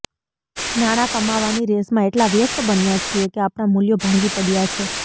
નાણાં કમાવાની રેસમાં એટલા વ્યસ્ત બન્યા છીએ કે આપણાં મૂલ્યો ભાંગી પડયાં છે